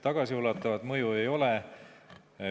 Tagasiulatuvat mõju ei ole.